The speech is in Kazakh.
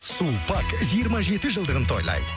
сулпак жиырма жеті жылдығын тойлайды